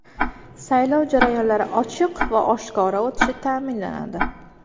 Saylov jarayonlari ochiq va oshkora o‘tishi ta’minlanadi.